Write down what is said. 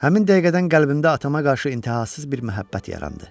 Həmin dəqiqədən qəlbimdə atama qarşı intəhasız bir məhəbbət yarandı.